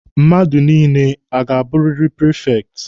Mmadụ niile ọ ga-abụrịrị prifekti?